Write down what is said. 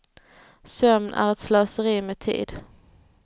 Sömn är ett slöseri med tid.